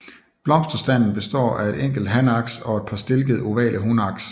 Blomsterstanden består af et enkelt hanaks og et par stilkede ovale hunaks